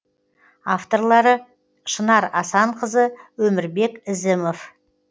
авторлары шынар асанқызы өмірбек ізімов